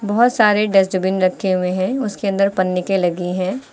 बहुत सारे डस्टबिन रखे हुए हैं उसके अंदर पन्नी के लगी है।